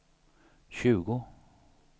tjugo